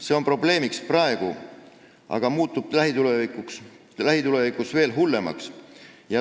See on probleem juba praegu, aga olukord muutub lähitulevikus veel hullemaks.